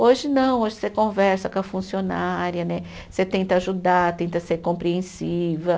Hoje não, hoje você conversa com a funcionária né, você tenta ajudar, tenta ser compreensiva.